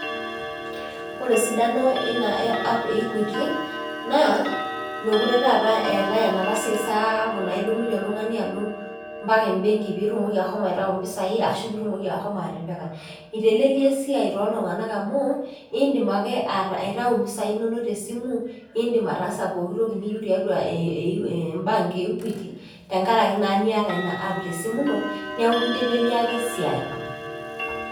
Ore esidano ina weina eapp equity naa mekure taata eetae enapa siai sapuk naa idumunye oltung'ani alo mpaka embenki pitumoki ashomo aitayu mpisai ashu pitumoki ashomo atipika . Itelelia esiai toltunganak amu indim ake aitayu impisai inonok tesimu , nindim ataasa pokitoki niyieu tiatua embanke eequity tenkaraki naa niaata ina app tesimu ino niaku kiteleliaki esiai.